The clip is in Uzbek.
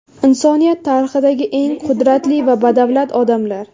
Insoniyat tarixidagi eng qudratli va badavlat odamlar .